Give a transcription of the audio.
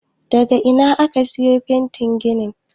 daga Ina aka siyo fetin gini